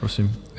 Prosím.